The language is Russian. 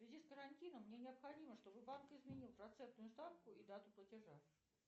в связи с карантином мне необходимо чтобы банк изменил процентную ставку и дату платежа